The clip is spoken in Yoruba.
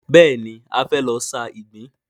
Bẹ́ẹ̀ni, a fẹ́ lọ sa ìgbín.